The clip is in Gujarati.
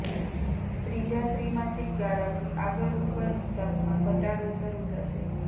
ત્રીજા ત્રિમાસિક ગાળાથી આગળ ઉપર નિકાસમાં ઘટાડો શરૂ થશે